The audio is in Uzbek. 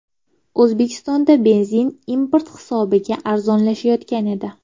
O‘zbekistonda benzin import hisobiga arzonlashayotgan edi.